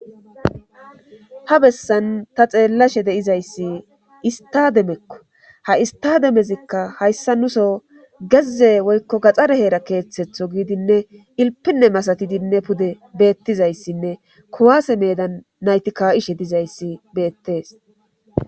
ha bessan ta xeellashe de'izayssi istademekko ha'i istademezikka hayssa nuso geze woykko gaxxare heera keeththetho giidinne ilpinne masatidinne pude beettizayssinne kowaase medan naytika7ishe dizayssi beettees